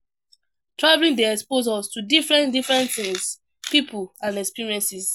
Travelling dey expose us to different different things, pipo and experiences